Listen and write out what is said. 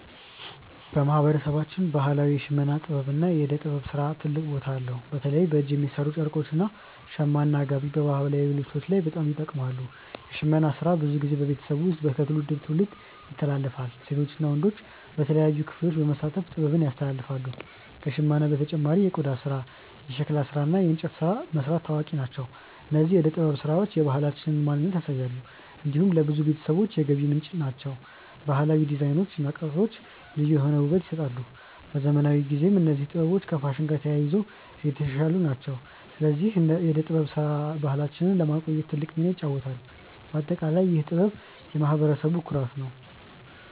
በማህበረሰባችን ባህላዊ የሽመና ጥበብ እና የእደ ጥበብ ስራ ታላቅ ቦታ አለው። በተለይ በእጅ የሚሠሩ ጨርቆች እንደ “ሸማ” እና “ጋቢ” በባህላዊ ልብስ ላይ በጣም ይጠቀማሉ። የሽመና ስራ ብዙ ጊዜ በቤተሰብ ውስጥ ከትውልድ ወደ ትውልድ ይተላለፋል። ሴቶች እና ወንዶች በተለያዩ ክፍሎች በመሳተፍ ጥበቡን ያስተላልፋሉ። ከሽመና በተጨማሪ የቆዳ ስራ፣ የሸክላ ስራ እና የእንጨት ቅርጽ መስራት ታዋቂ ናቸው። እነዚህ የእደ ጥበብ ስራዎች የባህላችንን ማንነት ያሳያሉ። እንዲሁም ለብዙ ቤተሰቦች የገቢ ምንጭ ናቸው። ባህላዊ ዲዛይኖች እና ቅርጾች ልዩ የሆነ ውበት ይሰጣሉ። በዘመናዊ ጊዜም እነዚህ ጥበቦች ከፋሽን ጋር ተያይዞ እየተሻሻሉ ናቸው። ስለዚህ የእደ ጥበብ ስራ ባህላችንን ለማቆየት ትልቅ ሚና ይጫወታል። በአጠቃላይ ይህ ጥበብ የማህበረሰቡ ኩራት ነው።